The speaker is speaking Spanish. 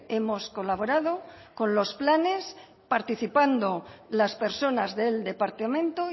hemos colaborado con los planes participando las personas del departamento